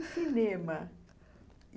E cinema?